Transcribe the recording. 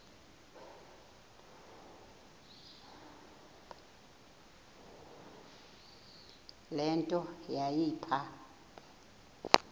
le nto yayipha